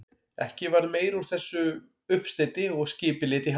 Ekki varð meira úr þessum uppsteyti og skipið lét í haf.